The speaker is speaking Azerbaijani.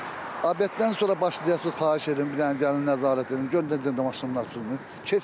Obedən sonra başlayasınız xahiş edirəm bir dənə gəlin nəzarət edin görün necə maşınlar içində.